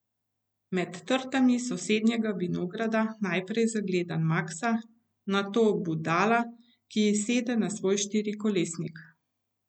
Med trtami sosednjega vinograda najprej zagledam Maksa, nato Budala, ki sede na svoj štirikolesnik.